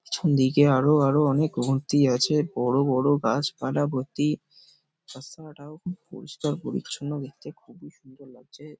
পিছন দিকে আরো আরো অনেক অগুন্তি আছে বড় বড় গাছপালা ভর্তি তার সঙ্গে এটাও খুব পরিষ্কার পরিছন্ন দেখতে খুবই সুন্দর লাগছে।